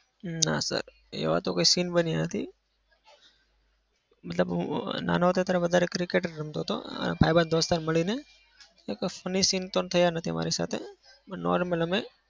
ના sir. એવા તો કોઈ scene બન્યા નથી. મતલબ હું અમ નાનો હતો ત્યારે વધારે હું cricket જ રમતો હતો. ભાઈબંધ દોસ્તાર મળીને કોઈ funny scene તો થયા નથી મારી સાથે normal અમે